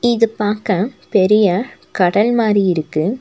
இது பாக்க பெரிய கடல் மாரி இருக்கு.